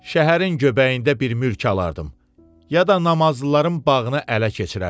Şəhərin göbəyində bir mülk alardım, ya da namazlıların bağını ələ keçirərdim.